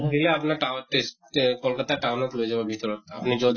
সিধিলে আপোনাৰ তাঅত test অ কলকাত্তা town ত লৈ যাব ভিতৰত আপুনি যʼত